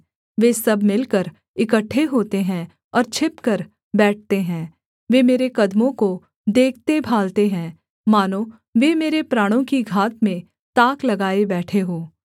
वे सब मिलकर इकट्ठे होते हैं और छिपकर बैठते हैं वे मेरे कदमों को देखते भालते हैं मानो वे मेरे प्राणों की घात में ताक लगाए बैठे हों